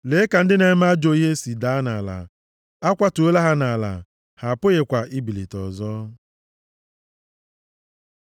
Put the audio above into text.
Lee ka ndị na-eme ajọ ihe si daa nʼala, a kwatuola ha nʼala, ha apụghịkwa ibilite ọzọ.